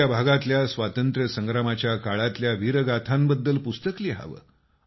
आपल्या भागातल्या स्वातंत्र्य संग्रामाच्या काळातल्या वीरगाथांबद्दल पुस्तक लिहावं